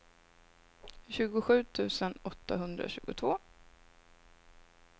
tjugosju tusen åttahundratjugotvå